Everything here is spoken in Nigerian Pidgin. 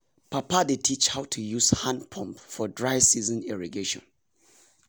papa dey teach how to use hand pump for dry season irrigation.